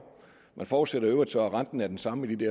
man forudsætter i øvrigt så at renten er den samme i de